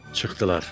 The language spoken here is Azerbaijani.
Çıxdılar.